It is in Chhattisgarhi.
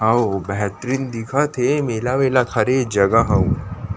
आऊ बेहतरीन दिखत हे मेला वेला के हरे ये जगह हा अउ--